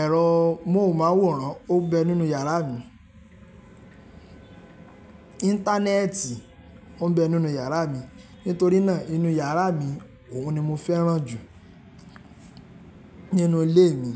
Ẹ̀rọ móhùnmáwòrán o ń bẹ nínú yàrá mi. Íńtánẹ́ẹ̀tì o ń bẹ nínú yàrá mi. Nítorí náà, inú iyàrá mi, òhun ni mo fẹ́ràn jù nínú ilé mi.